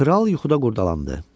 Kral yuxuda qurdalandı.